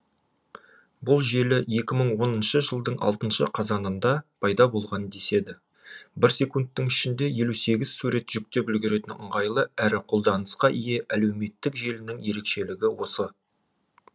бұл желі екі мың оныншы жылдың алтыншы қазанында пайда болған деседі бір секундтың ішінде елу сегіз сурет жүктеп үлгеретін ыңғайлы әрі қолданысқа ие әлеуметтік желінің ерекшелігі осы